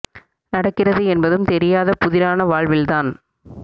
நடக்கிறது என்பதும் தெரியாத புதிரான வாழ்வில்தான்